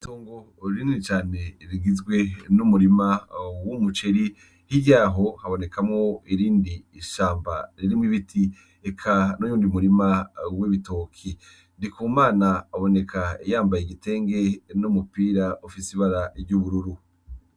Itongo rinini cane rigizwe n'umurima w'umuceri hirya yaho habonekamwo irindi shamba ririmwo ibiti eka nuyundi murima w'ibitoki, Ndikumana aboneka yambaye igitenge numupira ufise ibara ry'ubururu.